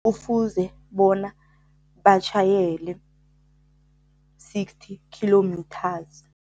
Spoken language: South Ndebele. Kufuze bona batjhayele sixty kilometres.